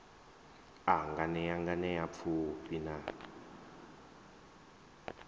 a nganea nganea pfufhi na